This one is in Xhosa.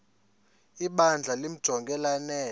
ibandla limjonge lanele